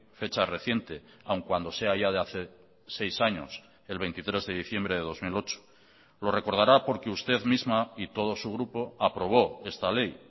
fecha reciente aun cuando sea ya de hace seis años el veintitrés de diciembre de dos mil ocho lo recordará porque usted misma y todo su grupo aprobó esta ley